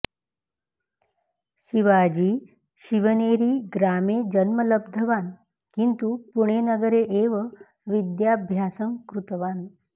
शिवाजी शिवनेरी ग्रामे जन्म लब्धवान् किन्तु पुणेनगरे एव विद्याभ्यासं कृतवान्